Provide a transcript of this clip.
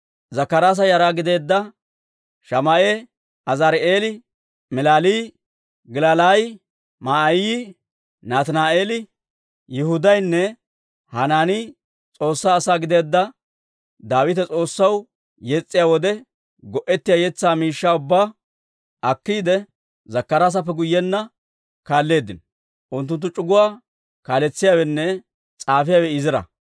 Zakkaraasa yara gideedda Shamaa'e, Azaari'eeli, Milalaayi, Gilalaayi, Ma'aayi, Nataani'eeli, Yihudaynne Hanaani S'oossaa asaa gideedda Daawite S'oossaw yes's'iyaa wode go'ettiyaa yetsaa miishshaa ubbaa akkiide, Zakkaraasappe guyyenna kaalleeddino. Unttunttu c'uguwaa kaaletsiyaawenne s'aafiyaawe Izira.